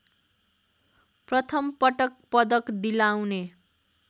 प्रथमपटक पदक दिलाउने